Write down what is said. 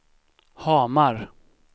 Hamar